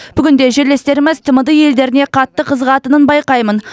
бүгінде жерлестеріміз тмд елдеріне қатты қызығатынын байқаймын